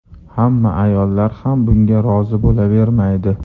Hamma ayollar ham bunga rozi bo‘lavermaydi.